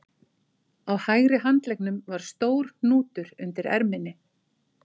Á hægri handleggnum var stór hnútur undir erminni